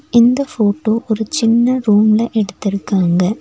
இந்த போட்டோ ஒரு சின்ன ரூம்ல எடுத்திருக்காங்க.